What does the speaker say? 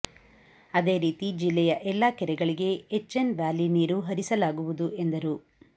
ಅದೇ ರೀತಿ ಜಿಲ್ಲೆಯ ಎಲ್ಲಾ ಕೆರೆಗಳಿಗೆ ಹೆಚ್ಎನ್ ವ್ಯಾಲಿ ನೀರು ಹರಿಸಲಾಗುವುದು ಎಂದರು